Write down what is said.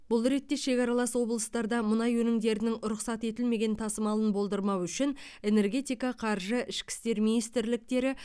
бұл ретте шекаралас облыстарда мұнай өнімдерінің рұқсат етілмеген тасымалын болдырмау үшін энергетика қаржы ішкі істер министрліктері